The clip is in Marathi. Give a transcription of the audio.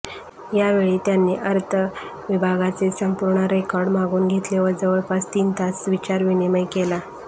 यावेळी त्यांनी अर्थ विभागाचे संपूर्ण रेकॉर्ड मागवून घेतले व जवळपास तीन तास विचारविनिमय केला